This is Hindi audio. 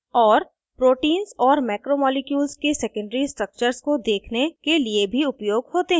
* और proteins और मैक्रोमॉलिक्यूल्स के secondary structures को देखने के लिए भी उपयोग होते हैं